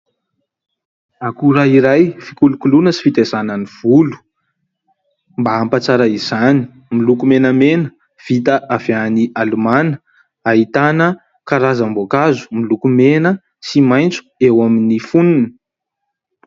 Akora iray fikolokoloana sy fitaizana ny volo mba hampatsara izany miloko menamena vita avy any Alimana ahitana karazam-boankazo miloko mena sy maitso eo amin'ny fonony.